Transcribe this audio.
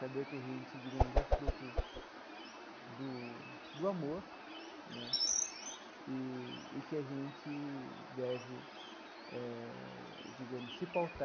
Saber que a gente, digamos, é fruto do do amor né e e que a gente deve eh, digamos, se pautar